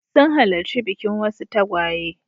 Sun halarci bikin wasu tagwaye.